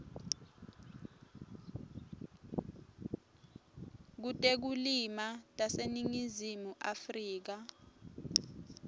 kutekulima taseningizimu afrika